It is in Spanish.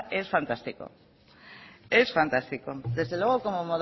es fantástico es fantástico desde luego como